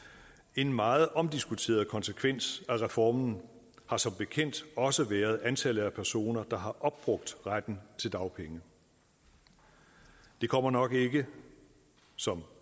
en meget omdiskuteret konsekvens af reformen har som bekendt også været antallet af personer der har opbrugt retten til dagpenge det kommer nok ikke som